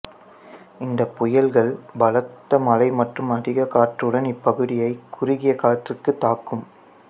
இந்த புயல்கள் பலத்த மழை மற்றும் அதிக காற்றுடன் இப்பகுதியைத் குறுகிய காலத்திற்கு தாக்கும்